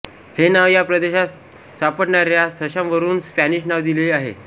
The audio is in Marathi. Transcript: हे नाव या प्रदेशात सापडणाऱ्या सशांवरुन स्पॅनिश नाव दिलेले आहे